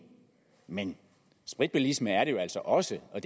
men spritbilisme er det jo altså også og